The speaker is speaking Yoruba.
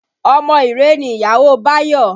Ọmọ Iree ni ìyàwó Bayo